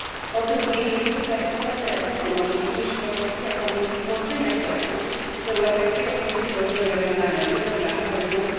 Po drugie, niezwykle istotne efekty może przynieść propozycja Komisji dotycząca łączenia środków z Europejskiego Funduszu Rozwoju Regionalnego i programu Horyzont